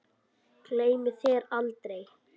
Gleymi þér aldrei.